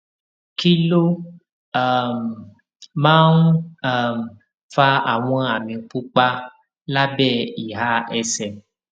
kí ló um máa ń um fa àwọn àmì pupa lábé ìhà ẹsè